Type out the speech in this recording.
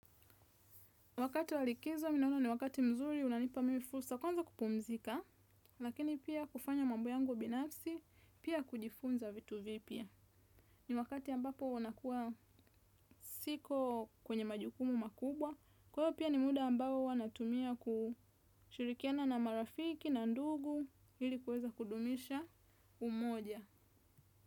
Wakati wa likizo, mimi naona ni wakati mzuri, unanipa mimi fursa, kwanza kupumzika, lakini pia kufanya mambo yangu binafsi, pia kujifunza vitu vipya. Ni wakati ambapo unakuwa siko kwenye majukumu makubwa, kwaiyo pia ni muda ambao huwa natumia kushirikiana na marafiki na ndugu, ili kuweza kudumisha umoja.